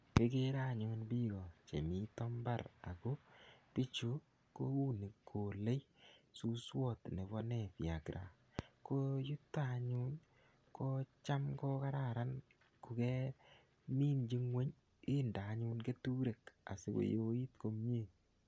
Ikere anyun biik chemite mbar. Ako bichu kouni kolei suswot nebo napier grass. Ko yuto anyun, kocham ko kararan kokeminchi ng'uny, inde anyun keturek asikoyoit komyee.